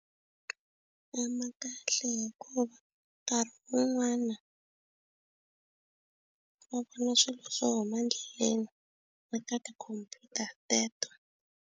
E-e ma kahle hikuva nkarhi wun'wana va vona swilo swo huma endleleni na ka ti computer teto.